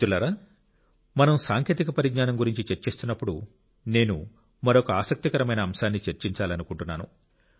మిత్రులారా మనం సాంకేతిక పరిజ్ఞానం గురించి చర్చిస్తున్నప్పుడు నేను మరొక ఆసక్తికరమైన అంశాన్ని చర్చించాలనుకుంటున్నాను